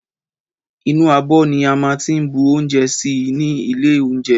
Ìnú ábõ ní a má n tí bú ounjé sí ni ìlé ounjé